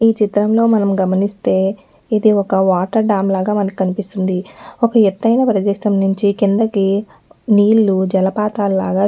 ఈచిత్రంలో మనం గమనిస్తే ఇది ఒక వాటర్ డ్యాం లాగా మనకి కనిపిస్తుంది ఒక్క ఎతైన ప్రదేశం నుంచి కిందకి నీళు జలపాతాలాగా --